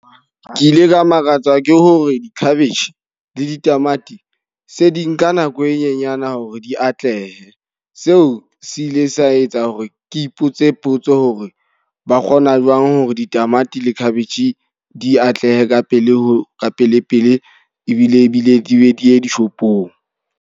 Ke ile ka makatsa ke hore, di-cabbage, le ditamati, se di nka nako e nyenyane hore di atlehe. Seo se ile sa etsa hore ke ipotse potso hore ba kgona jwang hore ditamati le cabbage di atlehe ka pele ho ka pele pele ebile ebile di be di ye dishopong.